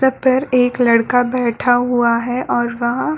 छाप पर एक लड़का बैठा हुआ है और वहाँ --